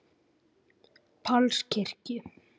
Páls kirkju.